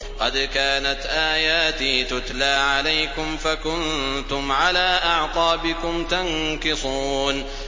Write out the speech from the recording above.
قَدْ كَانَتْ آيَاتِي تُتْلَىٰ عَلَيْكُمْ فَكُنتُمْ عَلَىٰ أَعْقَابِكُمْ تَنكِصُونَ